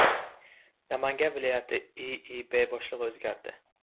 Namangan viloyati IIB boshlig‘i o‘zgardi.